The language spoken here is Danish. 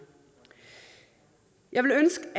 jeg ville ønske